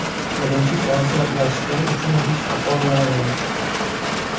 Birinchi konsert dasturi uchun besh baho beraman.